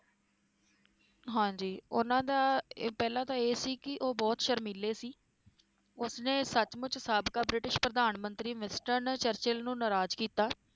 ਹਾਂਜੀ ਉਹਨਾਂ ਦਾ ਪਹਿਲਾਂ ਤਾਂ ਇਹ ਸੀ ਕਿ ਉਹ ਬਹੁਤ ਸ਼ਰਮੀਲੇ ਸੀ ਉਸ ਨੇ ਸੱਚਮੁੱਚ ਸਾਬਕਾ ਬ੍ਰਿਟਿਸ਼ ਪ੍ਰਧਾਨ ਮੰਤਰੀ ਮਿਸਟਨ ਚਰਚਿਲ ਨੂੰ ਨਾਰਾਜ ਕੀਤਾ